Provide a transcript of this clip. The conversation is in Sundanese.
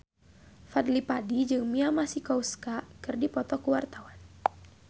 Fadly Padi jeung Mia Masikowska keur dipoto ku wartawan